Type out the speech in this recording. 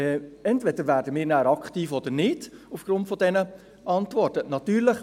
Entweder werden wir dann aufgrund dieser Antworten aktiv oder nicht.